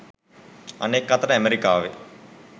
අනෙක් අතට ඇමරිකාවේ